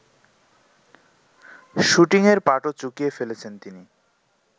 শুটিংয়ের পাটও চুকিয়ে ফেলেছেন তিনি